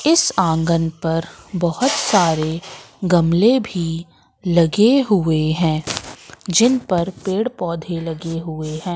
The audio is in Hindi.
इस आंगन पर बहुत सारे गमले भी लगे हुए हैं जिन पर पेड़ पौधे लगे हुए हैं।